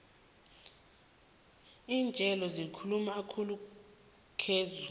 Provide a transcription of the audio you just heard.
lintjolo zikhulu khulu ngezulu